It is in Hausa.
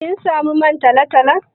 Kin samu man talo-talon?